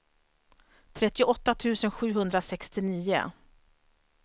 trettioåtta tusen sjuhundrasextionio